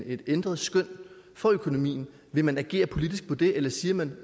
et ændret skøn for økonomien vil man så agere politisk på det eller siger man